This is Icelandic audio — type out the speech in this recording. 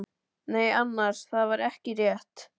Nei annars, það var ekki rétt.